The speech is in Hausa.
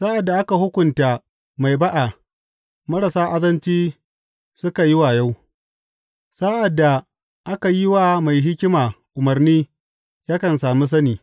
Sa’ad da aka hukunta mai ba’a marasa azanci suka yi wayo; sa’ad da aka yi wa mai hikima umarni yakan sami sani.